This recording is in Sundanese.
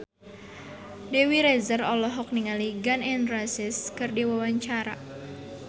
Dewi Rezer olohok ningali Gun N Roses keur diwawancara